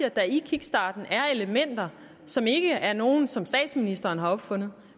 at der i kickstarten er elementer som ikke er nogle som statsministeren har opfundet